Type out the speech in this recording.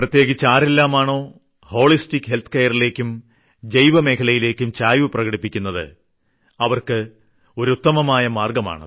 പ്രത്യേകിച്ച് ആരെല്ലാമാണോ വീഹശേെശര വലമഹവേ രമൃല ലേയ്ക്കും ജൈവമേഖലയിലേയ്ക്കും ചായ്വ് പ്രകടിപ്പിക്കുന്നത് അവർക്ക് ഒരു ഉത്തമമായ മാർഗമാണ്